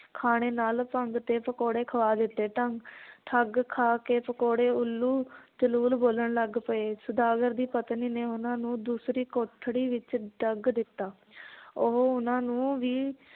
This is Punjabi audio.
ਖਾਣੇ ਨਾਲ ਭੰਗ ਦੇ ਪਕੌੜੇ ਖਵਾ ਦਿੱਤੇ ਤਾਂ ਠੱਗ ਖਾ ਕੇ ਪਕੌੜੇ ਉੱਲੂ ਜਲੂਲ ਬੋਲਣ ਲੱਗ ਪਏ, ਸੌਦਾਗਰ ਦੀ ਪਤਨੀ ਨੇ ਉਹਨਾਂ ਨੂੰ ਦੂਸਰੀ ਕੋਠੜੀ ਵਿਚ ਦੱਗ ਦਿੱਤਾ ਉਹ ਉਹਨਾਂ ਨੂੰ ਵੀ